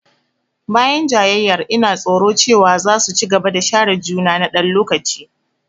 Bayan jayayyar, ina tsoro cewa za su ci gaba da share juna na ɗan lokaci.